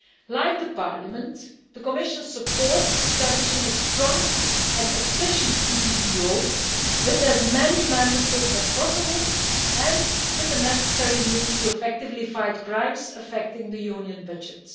Like the Parliament, the Commission supports establishing a strong and efficient EPPO with as many Member States as possible and with the necessary means to effectively fight crimes affecting the Union budget.